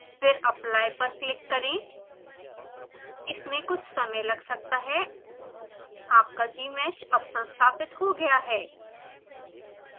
फिरapply पर क्लिक करें इसमें कुछ समय लग सकता है आपका gmsh अब संस्थापित हो गया है